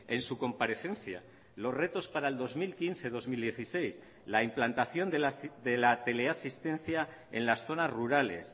en su comparecencia los retos para el dos mil quince dos mil dieciséis la implantación de la teleasistencia en las zonas rurales